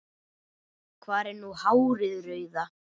Hvar er nú hárið rauða?